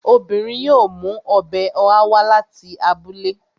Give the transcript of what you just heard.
Obìnrin yóò mú ọbẹ̀ ọ̀há wá láti abúlé